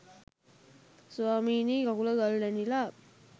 ස්වාමීනි කකුල ගල් ඇනිලා